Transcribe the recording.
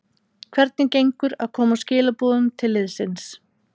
Hvernig gengur að koma skilaboðum til liðsins?